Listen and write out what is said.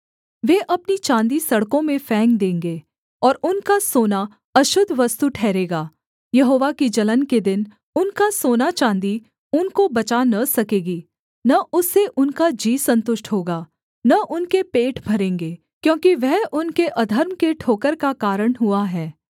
वे अपनी चाँदी सड़कों में फेंक देंगे और उनका सोना अशुद्ध वस्तु ठहरेगा यहोवा की जलन के दिन उनका सोना चाँदी उनको बचा न सकेगी न उससे उनका जी सन्तुष्ट होगा न उनके पेट भरेंगे क्योंकि वह उनके अधर्म के ठोकर का कारण हुआ है